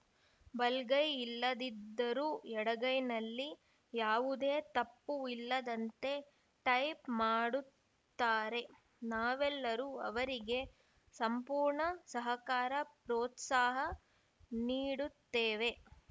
ಬಲಗೈ ಇಲ್ಲದಿದ್ದರೂ ಎಡಗೈನಲ್ಲೇ ಯಾವುದೇ ತಪ್ಪು ಇಲ್ಲದಂತೆ ಟೈಪ್‌ ಮಾಡುತ್ತಾರೆ ನಾವೆಲ್ಲರೂ ಅವರಿಗೆ ಸಂಪೂರ್ಣ ಸಹಕಾರ ಪ್ರೋತ್ಸಾಹ ನೀಡುತ್ತೇವೆ